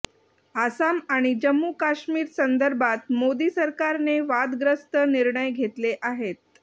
आसाम आणि जम्मू काश्मीरसंदर्भात मोदी सरकारने वादग्रस्त निर्णय घेतले आहेत